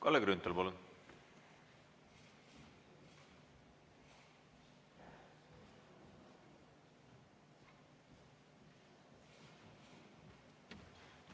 Kalle Grünthal, palun!